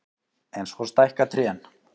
En svo stækka trén.